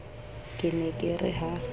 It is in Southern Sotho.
ke ne ke re ha